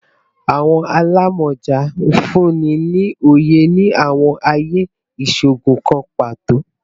Awọn alamọja nfunni ni oye ni awọn aaye iṣoogun kan pato